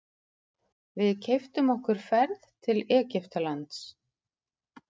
Við keyptum okkur ferð til Egyptalands.